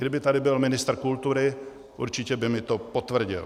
Kdyby tady byl ministr kultury, určitě by mi to potvrdil.